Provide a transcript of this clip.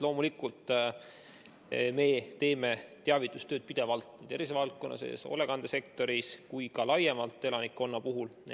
Loomulikult me teeme teavitustööd pidevalt nii tervisevaldkonnas, hoolekandesektoris kui ka laiema elanikkonna hulgas.